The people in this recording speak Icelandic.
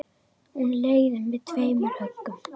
Hann leiðir með tveimur höggum.